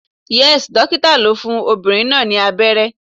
Yes, Dókítà lo fún ọmọbìnrin náà ni abẹ́rẹ́